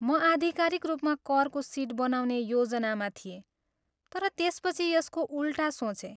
म आधिकारिक रूपमा करको सिट बनाउने योजनामा थिएँ तर त्यसपछि यसको उल्टा सोचेँ।